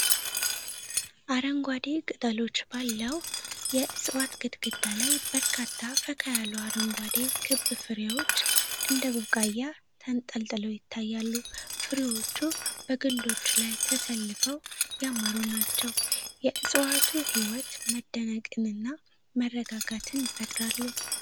አረንጓዴ ቅጠሎች ባለው የዕጽዋት ግንድ ላይ በርካታ ፈካ ያሉ አረንጓዴ ክብ ፍሬዎች እንደ ቡቃያ ተንጠልጥለው ይታያሉ። ፍሬዎቹ በግንዶቹ ላይ ተሰልፈው ያማሩ ናቸው። የእፅዋቱ ሕይወት መደነቅንና መረጋጋትን ይፈጥራል።